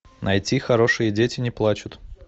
найти хорошие дети не плачут